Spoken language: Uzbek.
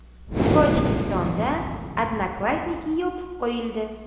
Tojikistonda “Odnoklassniki” yopib qo‘yildi.